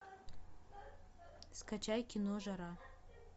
скачай кино жара